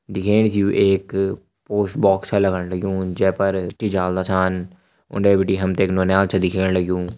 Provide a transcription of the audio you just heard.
दिखेण से यु एक पोस्ट बॉक्स सा लगण लग्युं जै पर चिट्ठी डालदा छन उने बिटि हम ते एक नौनियाल छ दिखेण लग्युं।